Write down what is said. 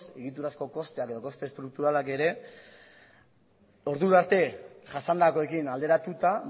egiturazko kosteak edo koste estrukturalak ere ordurarte jasandakoarekin alderatuta